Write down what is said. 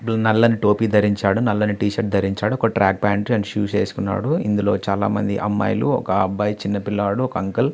నల్లని టోపీ ధరించాడు.నల్లని టీ షర్టు ధరించాడు. ట్రాక్ ప్యాంటు షూస్ వేసుకున్నాడు.చాలామంది అమ్మాయిలు అబ్బాయిలు ఒక చిన్న పిల్లాడు ఒక అంకుల్ --